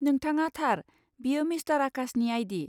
नोंथाङा थार, बेयो मिस्टार आकाशनि आइ.डि.।